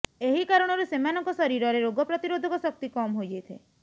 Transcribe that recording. ଏହି କାରଣରୁ ସେମାନଙ୍କ ଶରୀରରେ ରୋଗ ପ୍ରତିରୋଧକ ଶକ୍ତି କମ୍ ହୋଇଯାଇଥାଏ